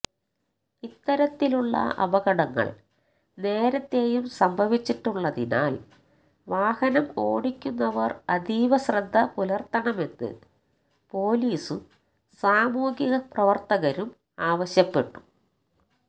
ഇത്തരത്തിലുള്ള അപകടങ്ങള് നേരത്തെയും സംഭവിച്ചിട്ടുള്ളതിനാല് വാഹനം ഓടിക്കുന്നവര് അതീവ ശ്രദ്ധ പുലര്ത്തണമെന്ന് പൊലീസും സാമൂഹിക പ്രവര്ത്തകരും ആവശ്യപ്പെട്ടു